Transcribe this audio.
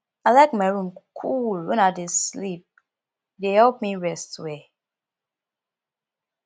i like my room cool when i dey sleep e dey help me rest well